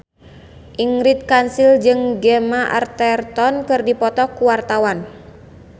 Ingrid Kansil jeung Gemma Arterton keur dipoto ku wartawan